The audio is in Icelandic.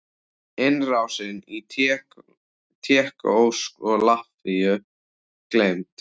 Innrásin í Tékkóslóvakíu gleymd?